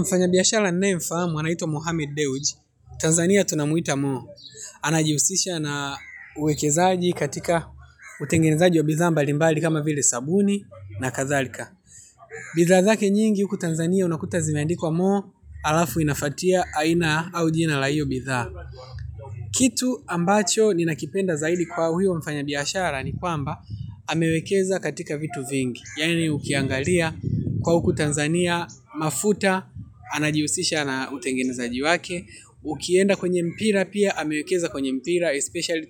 Mfanya biashara nanayemfahamu anaitwa Mohamed Deuj, Tanzania tunamuita mo. Anajihusisha na uwekezaji katika utengenezaji wa bidhaa mbalimbali kama vile sabuni na kadhalika. Bidhaa zake nyingi huku Tanzania unakuta zimeandikwa mo halafu inafuatia aina au jina la hiyo bidhaa. Kitu ambacho ninakipenda zaidi kwa huyo mfanyabiashara ni kwamba amewekeza katika vitu vingi. Yaani ukiangalia kuwa huku Tanzania, mafuta, anajihusisha na utengenezaji wake. Ukienda kwenye mpira pia, amewekeza kwenye mpira, especially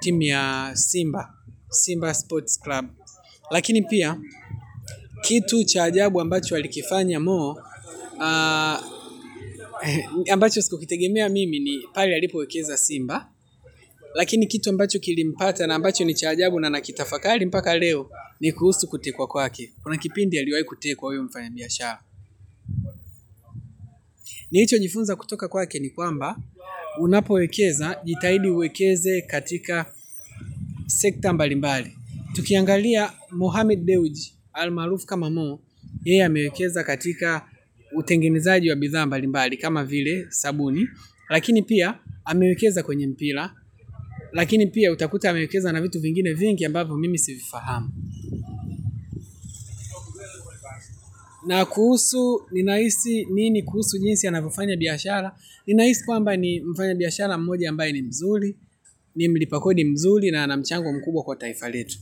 team ya Simba Sports Club. Lakini pia, kitu cha ajabu ambacho alikifanya mo, ambacho sikukitegemea mimi ni pale alipoekeza Simba. Lakini kitu ambacho kilimpata na ambacho ni cha ajabu na nakitafakari mpaka leo, ni kuhusu kutekwa kwake. Kuna kipindi aliwahi kutekwa huyu mfanya biashara. Nilichojifunza kutoka kwake ni kwamba unapowekeza jitahidi uwekeze katika sekta mbalimbali. Tukiangalia Mohamed Bewji al maarufu kama mo yeye amewekeza katika utengenezaji wa bidhaa mbalimbali kama vile sabuni. Lakini pia amewekeza kwenye mpira. Lakini pia utakuta amewekeza na vitu vingine vingi ambavyo mimi sivifahamu. Na kuhusu ninahisi nini kuhusu jinsi anavofanya biashara. Ninahisi kwamba ni mfanya biashara mmoja ambaye ni mzuri. Nimlipa kodi mzuri na ana mchango mkubwa kwa taifa letu.